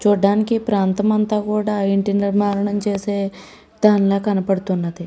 చుడానికి ఈ ప్రాంతం అంత కూడా ఇంటి నిర్మాణం చేసే ప్రాంతం లాగా కనపడుతుంది .